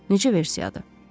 Necə versiyadır!